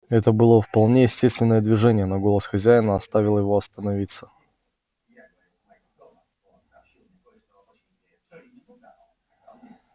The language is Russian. это было вполне естественное движение но голос хозяина оставил его остановиться